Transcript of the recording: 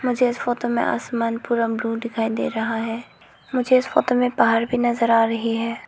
मुझे इस फोटो में आसमान पूरा ब्ल्यू दिखाई दे रहा है मुझे इस फोटो में पहार भी नजर आ रही है।